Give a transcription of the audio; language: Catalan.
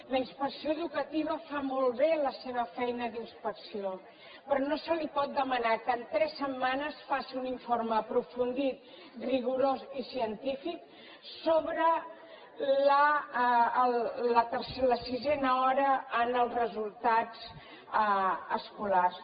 la inspecció educativa fa molt bé la seva feina d’inspecció però no se li pot demanar que en tres setmanes faci un informe aprofundit rigorós i científic sobre la sisena hora en els resultats escolars